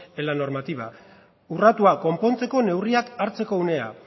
en la normativa urratua konpontzeko neurriak hartzeko unea